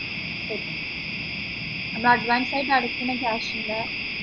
ശരി എന്നാ adavnce ആയിട്ട് അടക്കുന്ന cash ന്റെ